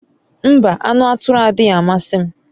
Mba, anu aturu adighi amasi m